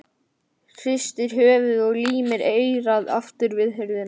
Hristir höfuðið og límir eyrað aftur við hurðina.